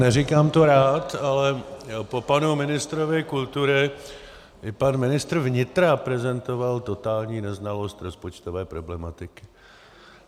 Neříkám to rád, ale po panu ministrovi kultury i pan ministr vnitra prezentoval totální neznalost rozpočtové problematiky.